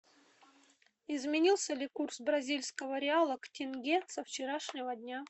изменился ли курс бразильского реала к тенге со вчерашнего дня